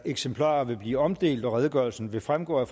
eksemplarer vil blive omdelt og redegørelsen vil fremgå af